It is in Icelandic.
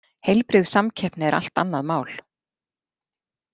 Heilbrigð samkeppni er allt annað mál.